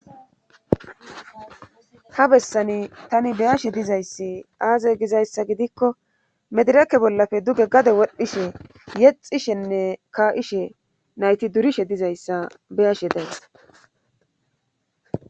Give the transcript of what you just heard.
ha bessani tani beyashe dizayssi aaze gizayssa gidikko medireke bollafe duge gade wodhdhishe yexishenne ka'ishe nayti durishe dizayssa beyashe days